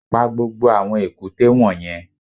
Pa gbogbo àwọn èkúté wọ̀nyẹn